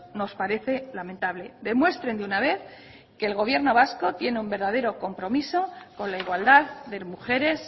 nos parece lamentable demuestren de una vez que el gobierno vasco tiene un verdadero compromiso con la igualdad de mujeres